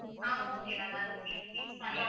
ஆ okay ma'am அது உங்களுக்கு fix பண்ணி~